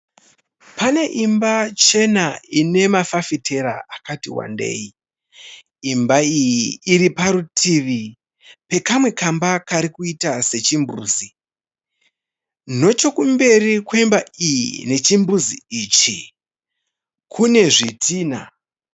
Imba chena ine mafafitera akati wandei. Imba iyi iri parutivi pekamwe kamba karikuita se chimbuzi. Nechekumberi kwemba iyi ne chimbuzi ichi kune zvitina.